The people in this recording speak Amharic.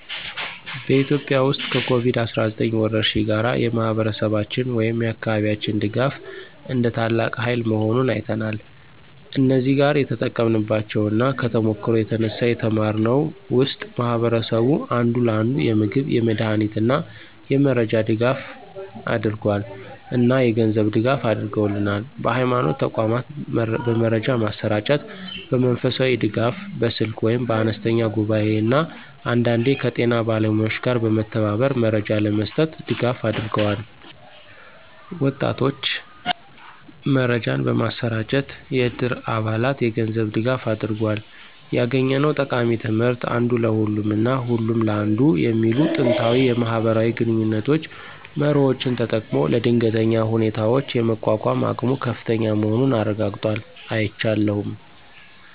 በኢትዮጵያ ውስጥ ከኮቪድ-19 ወረርሽኝ ጋር፣ የማህበረሰባችን ወይም የአካባቢያችን ድጋፍ እንደ ታላቅ ሃይል መሆኑን አይተናል። እዚህ ጋር የተጠቀምንባቸው እና ከተሞክሮው የተነሳ የተማርነው ውስጥ ማህበረሰቡ አንዱ ለአንዱ የምግብ፣ የመድሃኒት እና የመረጃ ድጋፍ አደረገል እና የገንዝብ ድጋፍ አድርገውልናል። በሀይማኖት ተቋማት በመረጃ ማሰራጨት፣ በመንፈሳዊ ድጋፍ (በስልክ ወይም በአነስተኛ ጉባኤ) እና አንዳንዴ ከጤና ባለሙያዎች ጋር በመተባበር መረጃ ለመስጠት ድጋፍ አድርገዋል። ወጣቶች መረጃን በማሰራጨት፣ የዕድር አባላት የገንዝብ ድጋፋ አድርጎል። ያገኘነው ጠቃሚ ትምህርት (አንዱ ለሁሉም እና ሁሉም ለአንዱ) የሚሉ ጥንታዊ የማህበራዊ ግንኙነት መርሆዎችን ተጠቅሞ ለድንገተኛ ሁኔታዎች የመቋቋም አቅሙ ከፍተኛ መሆኑን አረጋግጧል። አይቻለሁም።